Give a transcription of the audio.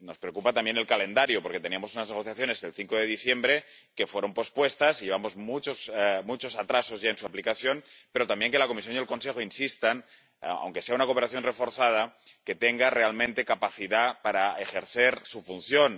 Nos preocupa también el calendario porque teníamos unas negociaciones el 5 de diciembre que fueron pospuestas, y llevamos muchos atrasos ya en su aplicación, pero también que la Comisión y el Consejo insistan, aunque sea en una cooperación reforzada, en que este impuesto tenga realmente capacidad para ejercer su función.